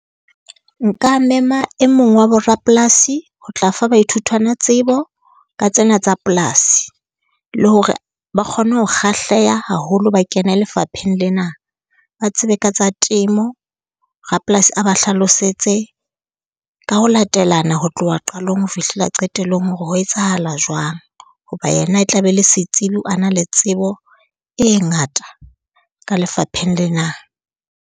Nka mema e mong wa borapolasi ho tla fa baithutwana tsebo ka tsena tsa polasi, le hore ba kgone ho kgahleha haholo ba kene lefapheng lena. Ba tsebe ka tsa temo, rapolasi a ba hlalosetse ka ho latelana ho tloha qalong ho fihlela qetellong hore ho etsahala jwang, hoba yena e tla be le setsebi. A na le tsebo e ngata ka lefapheng lena.